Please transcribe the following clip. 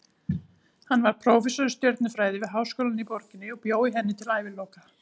Hann varð prófessor í stjörnufræði við háskólann í borginni og bjó í henni til æviloka.